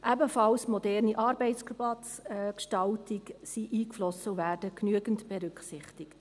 Eine moderne Arbeitsplatzgestaltung sei ebenfalls eingeflossen und werde genügend berücksichtigt.